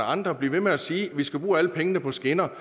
andre bliver ved med at sige at vi skal bruge alle pengene på skinner